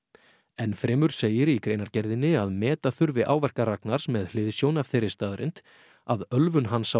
enn fremur segir í greinargerðinni að meta þurfi áverka Ragnars með hliðsjón af þeirri staðreynd að ölvun hans á